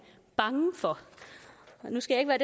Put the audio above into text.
bange for nu skal jeg